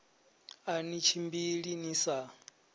a ni tshimbili ni sa